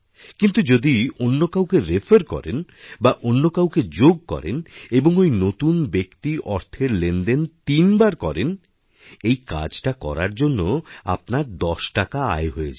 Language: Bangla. কিন্তু যদি অন্য কাউকে রেফার করেন বা অন্য কাউকেযোগ করেন এবং ওই নতুন ব্যক্তি অর্থের লেনদেন তিনবার করেন এই কাজটা করার জন্য আপনারদশ টাকা আয় হয়ে যায়